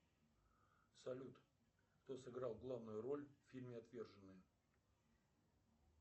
салют кто сыграл главную роль в фильме отверженные